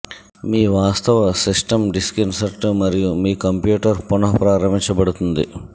మీ వాస్తవ system disk insert మరియు మీ కంప్యూటర్ పునఃప్రారంభించబడుతుంది